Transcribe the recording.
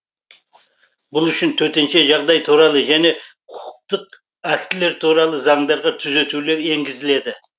бұл үшін төтенше жағдай туралы және құқықтық актілер туралы заңдарға түзетулер енгізіледі